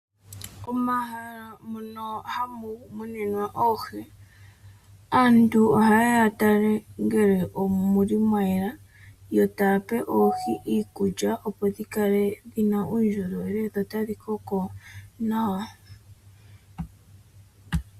Omahala mono hamu muninwa oohi aantu oha yeya ya tale ngele omuli mwa yela yo taya pe oohi iikulya opo dhikale dhina uundjolowele dho otadhi koko nawa.